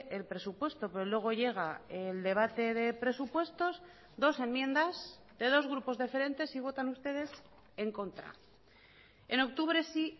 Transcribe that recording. el presupuesto pero luego llega el debate de presupuestos dos enmiendas de dos grupos diferentes y votan ustedes en contra en octubre sí